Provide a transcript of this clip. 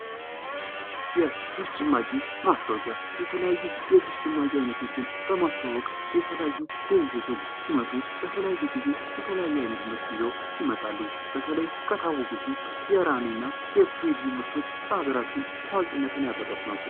የጁስ ጭማቂ ማስታወቂያ የተለያዩ የጁስ ጭማቂ አይነቶችን በማስተዋወቅ የተለያዩ ድርጅቶች ሲመጡ በተለያየ ጊዜ የተለያየ አይነት ምርት ይዘው ይመጣሉ ። በተለይ ከታወቁት ውስጥ የራኒ እና የስሪዲ ምርቶች በሀገራችን ታዋቂነትን ያተረፉ ናቸው ።